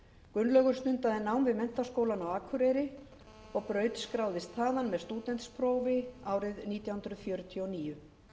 gunnlaugur stundaði nám við menntaskólann á akureyri og brautskráðist þaðan með stúdentsprófi árið nítján hundruð fjörutíu og níu